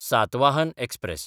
Satavahana express